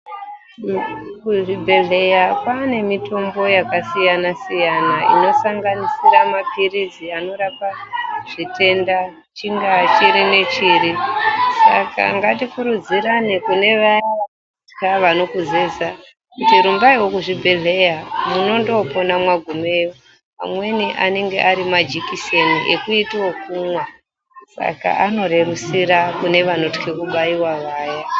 Kuzvibhedhleya kwane mitombo yakasiyana-siyana inosanganisira maphirizi anorapa zvitenda chingaa chiri nechiri saka ngatikurudzirane kune vaya vanokutya vanokuzeza kuti rumbaiwo kuzvibhedhleya munondopona mwagumeyo. Amweni anenge ari majikiseni ekuita okumwa Saka anorerusira vanotye kubaiwa vaya.